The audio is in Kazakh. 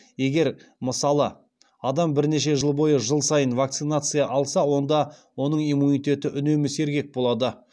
егер мысалы адам бірнеше жыл бойы жыл сайын вакцинация алса онда оның иммунитеті үнемі сергек болады